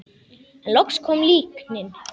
En loks kom líknin.